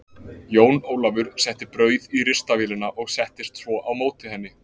Jón Ólafur setti brauð í ristavélina og settist svo á móti henni.